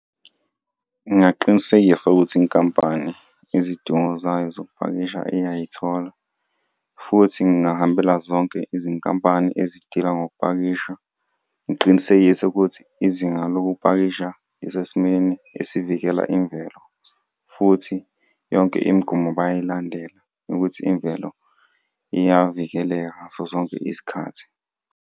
Ngingaqinisekisa ukuthi inkampani izidingo zayo zokupakisha iyayithola futhi ngahambela zonke izinkampani ezidila ngokupakisha, ngiqinisekise ukuthi izinga lokupakisha lisesimeni esivikela imvelo. Futhi yonke imigomo bayayilandela yokuthi imvelo iyavikeleka ngaso sonke isikhathi.